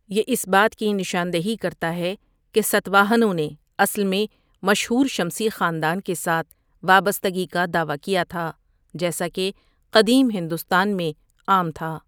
یہ اس بات کی نشاندہی کرتا ہے کہ ساتواہنوں نے اصل میں مشہور شمسی خاندان کے ساتھ وابستگی کا دعویٰ کیا تھا، جیسا کہ قدیم ہندوستان میں عام تھا۔